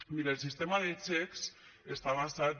miri el sistema de xecs està basat